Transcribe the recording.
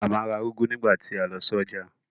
Màmá ra úgú nígbà tí a lọ sí ọjà